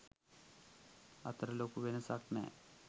අතර ලොකු වෙනසක් නැහැ.